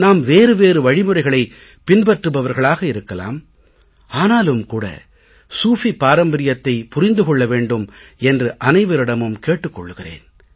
நாம் வேறு வேறு வழிமுறைகளைப் பின்பற்றுபவர்களாக இருக்கலாம் ஆனாலும் கூட சூஃபி பாரம்பரியத்தைப் புரிந்து கொள்ள வேண்டும் என்று அனைவரிடமும் கேட்டுக் கொள்கிறேன்